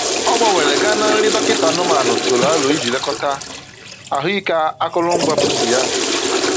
Ọ gbanwere gaa na nri dọkịta anụmanụ tụrụ aro iji lekọta ahụ ike akụrụ ngwa pusi ya